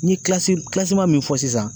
N ye min fɔ sisan